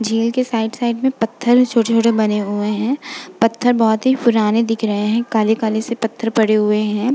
झील के side side में छोटे-छोटे पत्थर बने हुए हैं। पत्थर बहोत ही पुराने दिख रहे हैं। काले-काले से पत्थर पड़े हुए हैं।